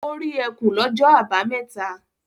Ó rí ẹkùn lọ́jọ́ àbámẹ́ta?